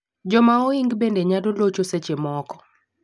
Joma ohing bende nyalo locho seche moko